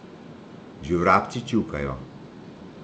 Že vrabci čivkajo.